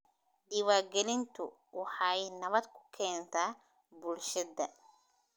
Diiwaangelintu waxay nabad ku keentaa bulshada.